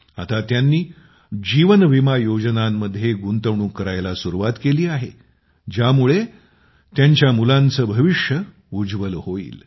आता तिने जीवन विमा योजनांमध्ये गुंतवणूक करण्यास सुरुवात केली आहे ज्यामुळे तिच्या मुलांचे भविष्य उज्ज्वल होईल